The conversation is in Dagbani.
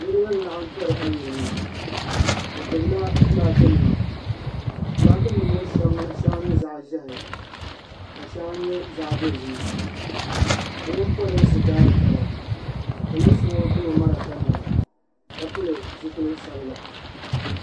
sa 111Niriba n laɣim tori ayirimo bɛ gbibila filaaki nima filaaki nima ŋɔ sheŋa nyɛ zaɣa ʒehi ka sheŋa nyɛ zaɣa dozim bɛ mini polinsi daari taba polinsi ŋɔ gbibi marafa nima ka pili zipil'sabila.